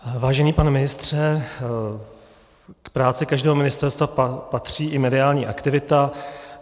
Vážený pane ministře, k práci každého ministerstva patří i mediální aktivita.